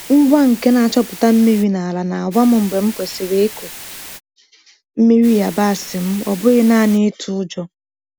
Ngwa nke na-achọpụta mmiri na ala na-agwa m mgbe m kwesịrị ịkụ mmiri yabasị m, ọ bụghị naanị ịtụ ụjọ.